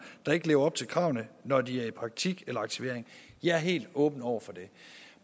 der ikke lever op til kravene når de er i praktik eller aktivering jeg er helt åben over for det